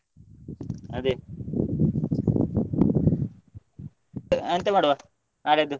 ಅದೇ ಎಂತ ಮಾಡುವ ನಾಳೆಯದ್ದು?